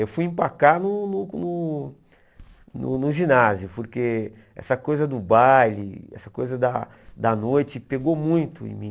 Eu fui empacar no no no no no ginásio, porque essa coisa do baile, essa coisa da da noite pegou muito em mim.